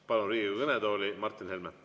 Palun Riigikogu kõnetooli Martin Helme.